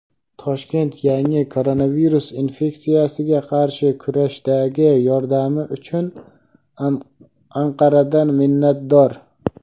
Toshkent yangi koronavirus infeksiyasiga qarshi kurashdagi yordami uchun Anqaradan minnatdor.